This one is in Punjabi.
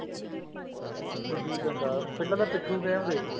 ਹਾਂ ਗੁੱਲੀ ਡੰਡਾ ਪਹਿਲਾਂ ਤਾਂ ਪਿਠੁ game ਦੇਖ ਲੋ